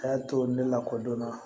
A y'a to ne la ko don na